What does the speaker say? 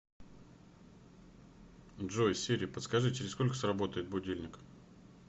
джой сири подскажи через сколько сработает будильник